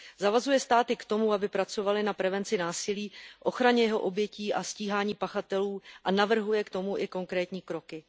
Zavazuje státy k tomu, aby pracovaly na prevenci násilí, ochraně jeho obětí a stíhání pachatelů, a navrhuje k tomu i konkrétní kroky.